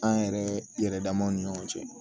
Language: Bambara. An yɛrɛ yɛrɛ damaw ni ɲɔgɔn cɛ